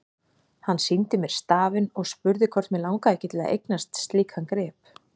Hann sýndi mér stafinn og spurði hvort mig langaði ekki til að eignast slíkan grip.